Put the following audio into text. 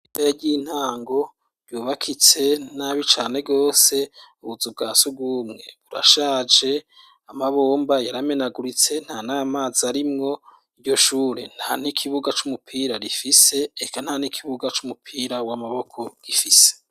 Ishure ry'intango ryubakitse n'abi cane gose ,ubuzu bwasugumwe burashaje ,amabomba yaramenaguritse nta namazi arimwo, iryo shure nta n'ikibuga c'umupira rifise, reka nta n'ikibuga c'umupira w'amaboko rifise.